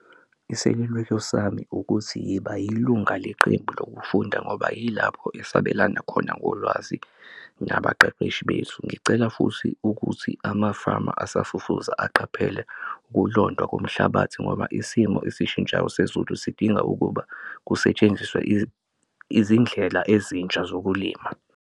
Iseluleko sami ukuthi yiba yilunga leqembu lokufunda ngoba yilapho sabelana khona ngolwazi nabaqeqeshi bethu. Ngicela futhi ukuthi amafama asafufusa aqaphele ukulondwa komhlabathi ngoba isimo esishintshayo sezulu sidinga ukuba kusetshenziswe izindlela ezintsha zokulima.